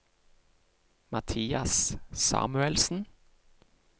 Mathias Samuelsen